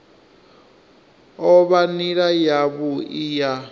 o vha nila yavhui ya